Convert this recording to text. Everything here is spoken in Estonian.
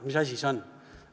Mis asi see on?